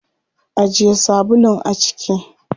Ajiye sabulun a ciki.